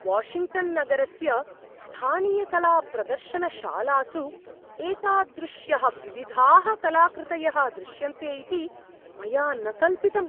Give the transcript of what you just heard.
Washington नगरस्य स्थानीयकलाप्रदर्शनशालासु एतादृश्यः विविधाः कलाकृतयः दृश्यन्ते इति मया न कल्पितम्।